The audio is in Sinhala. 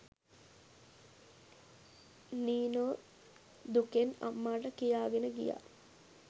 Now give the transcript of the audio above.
නීනෝ දුකෙන් අම්මාට කියාගෙන ගියා.